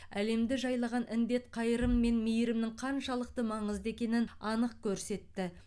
әлемді жайлаған індет қайырым мен мейірімнің қаншалықты маңызды екенін анық көрсетті